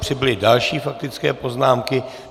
Přibyly další faktické poznámky.